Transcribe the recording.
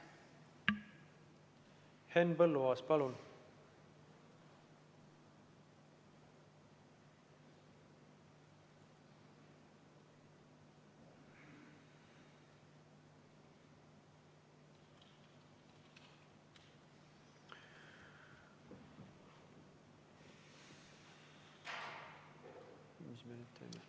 Henn Põlluaas, palun!